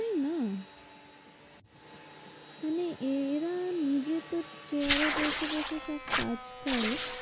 সেই না? মানে এরা নিজে তো chair এ বসে বসে সব কাজ করে।